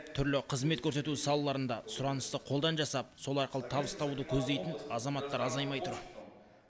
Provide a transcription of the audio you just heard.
түрлі қызмет көрсету салаларында сұранысты қолдан жасап сол арқылы табыс табуды көздейтін азаматтар азаймай тұр